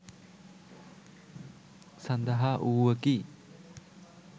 සඳහා වූවකි.